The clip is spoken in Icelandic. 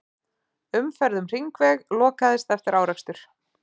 Umferð um hringveg lokaðist eftir árekstur